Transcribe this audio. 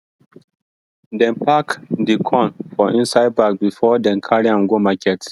dem pack di corn for inside bag before dem carry am go market